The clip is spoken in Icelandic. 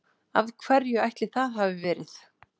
Af hverju ætli það hafi verið?